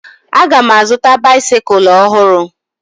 Aga m azụta baisikụl ọhụrụ